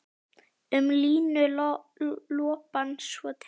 Um línuna lopann svo teygir.